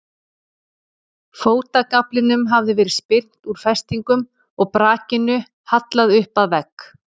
Fótagaflinum hafði verið spyrnt úr festingum og brakinu hallað upp að vegg.